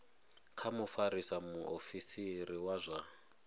kha mufarisa muofisiri wa zwa